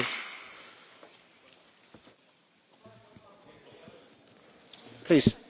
Premesso che il mio passaporto è stato controllato quando sono venuta qua a Strasburgo giustamente!